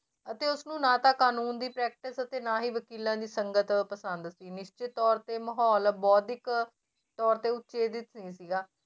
ਅਤੇ ਉਸਨੂੰ ਨਾ ਤਾਂ ਕਾਨੂੰਨ ਦੀ practice ਅਤੇ ਨਾ ਹੀ ਵਕੀਲਾਂ ਦੀ ਸੰਗਤ ਪਸੰਦ ਸੀ ਨਿਸ਼ਚਿਤ ਤੌਰ ਤੇ ਮਾਹੌਲ ਬੋਧਿਕ ਤੌਰ ਤੇ ਉਤੇਜਿਤ ਨੀ ਸੀਗਾ